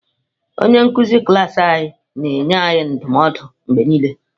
Onye nkuzi klas anyị na-enye anyị ndụmọdụ mgbe niile.